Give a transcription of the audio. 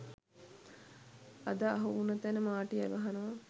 අද අහු උන තැන මාටියා ගහනවා